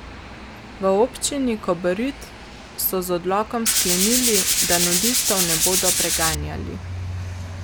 V Občini Kobarid so z odlokom sklenili, da nudistov ne bodo preganjali.